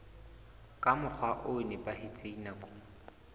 ka mokgwa o nepahetseng nakong